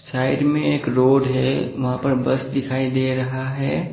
Side में एक road है वहां पर बस दिखाई दे रहा है।